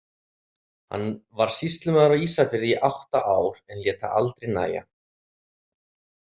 Hann var sýslumaður á Ísafirði í átta ár en lét það aldrei nægja.